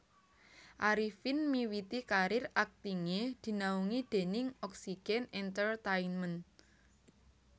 Arifin miwiti karir aktingé dinaungi déning Oxygen Entertainment